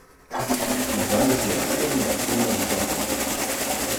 Na zadnjici je obsežna usnjena zaplata.